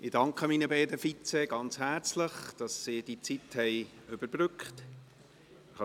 Ich danke meinen beiden Vizepräsidenten ganz herzlich, dass sie die Zeit überbrückt haben.